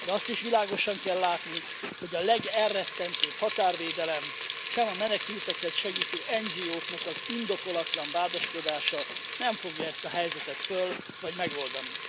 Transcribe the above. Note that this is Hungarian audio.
De azt is világosan kell látni, hogy sem a legelrettentőbb határvédelem, sem a menekülteket segítő NGO k elleni indokolatlan vádaskodás nem fogja ezt a helyzetet föl vagy megoldani.